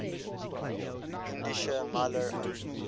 indischer maler um